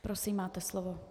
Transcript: Prosím, máte slovo.